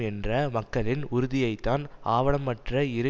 என்ற மக்களின் உறுதியைத்தான் ஆவணமற்ற இரு